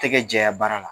Tɛgɛ jɛya baara la